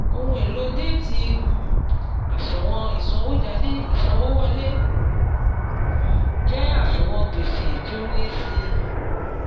ohùn èlò déétì um àṣùwọ̀n ìsànwójáde ìsanwówọlé um jẹ́ àṣùwọ̀n gbèsè tí ó ń lé si